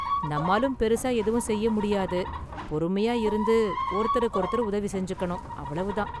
நம்மாலும் பெரிசா எதுவும் செய்ய​ முடியாது, பொறுமையா​ இருந்து ஒருத்தருக்கொருத்தர் உதவிசெஞ்சுக்கணும், அவ்வளவுதான்.